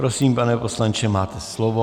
Prosím, pane poslanče, máte slovo.